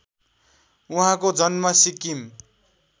उहाँको जन्म सिक्किम